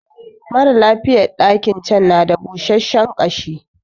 Maralafiyan ɗakin can na da busashiyar ƙashi